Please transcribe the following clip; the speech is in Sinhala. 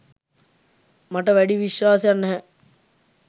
මට වැඩි විශ්වාසයක්‌ නැහැ.